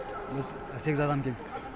біз сегіз адам келдік